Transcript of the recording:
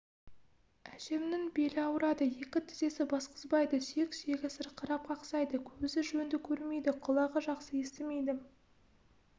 әжемнің белі ауырады екі тізесі басқызбайды сүйек-сүйегі сырқырап қақсайды көзі жөнді көрмейді құлағы жақсы естімейді